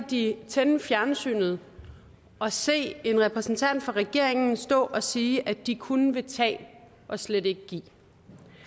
de tænde fjernsynet og se en repræsentant for regeringen stå og sige at de kun vil tage og slet ikke vil give